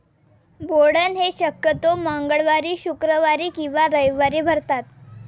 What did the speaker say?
बोडण हे शक्यतो मंगळवारी, शुक्रवारी किंवा रविवारी भारतात.